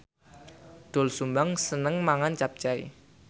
Doel Sumbang seneng mangan capcay